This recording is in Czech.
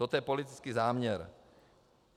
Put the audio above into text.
Toto je politický záměr.